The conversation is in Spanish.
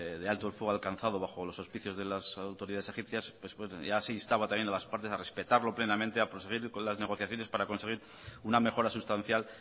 de alto el fuego alcanzado bajo los hospicios de las autoridades egipcias ya se instaba también a las partes a respetarlo plenamente a proseguir con las negociaciones para conseguir una mejora sustancial